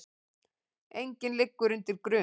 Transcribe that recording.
Enginn liggur undir grun